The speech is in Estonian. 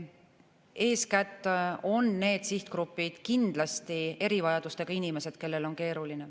Eeskätt on need sihtgrupid kindlasti erivajadustega inimesed, kellel on keeruline.